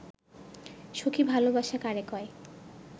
সখি ভালবাসা কারে কয়